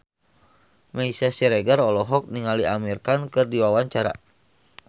Meisya Siregar olohok ningali Amir Khan keur diwawancara